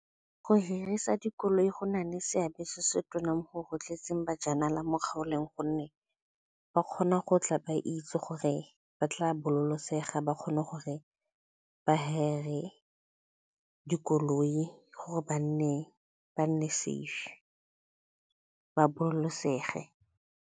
Go hirisa dikoloi go na le seabe se se tona mo go rotloetseng bajanala mo kgaolong gonne ba kgona go tla ba itse gore ba tla ba kgone gore ba dikoloi gore ba nne safe ba .